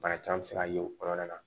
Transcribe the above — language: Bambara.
Bana caman bɛ se ka ye o kɔnɔna na